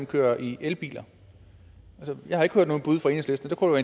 kører i elbiler jeg har ikke hørt nogen bud fra enhedslisten og